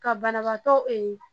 Ka banabaatɔ